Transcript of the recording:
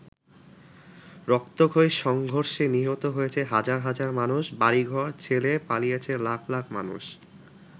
রক্তক্ষয়ী সংঘর্ষে নিহত হয়েছে হাজার হাজার মানুষ, বাড়িঘর ছেড়ে পালিয়েছে লাখ লাখ মানুষ।